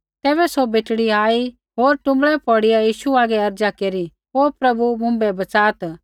तैबै सौ बेटड़ी आई होर टुँबड़ै पौड़िया यीशु हागै अर्ज़ा केरी ओ प्रभु मुँभै बच़ात्